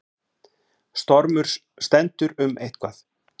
Stormur stendur um eitthvað